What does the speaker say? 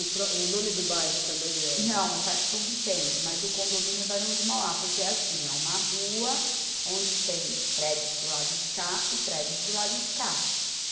O pró, o nome do bairro também é... Não, é Parque São Vicente, mas o condomínio é Barão de Mauá, porque é assim, é uma rua onde tem prédios do lado de cá e prédios do lado de cá.